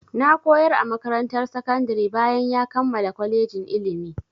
Na koyar a makarantar sakandari bayan ya kammala kolejin ilimi.